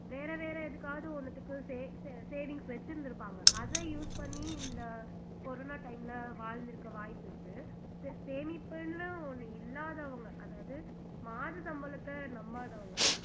வேற வேற எதுக்காவது ஒண்ணுத்துக்கு saw savings வச்சிருந்துருப்பாங்க அத use பண்ணி இந்த corona time ல வாழ்ந்திருக்க வாய்ப்பிருக்கு சேமிப்புன்னு ஒண்ணு இல்லாதவங்க அதாவது மாத சம்பளத்தை நம்பாதவங்க